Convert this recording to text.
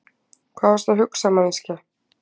Hvað varstu að hugsa, manneskja?